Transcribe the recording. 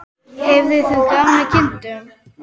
Hefur þú gaman af kindum?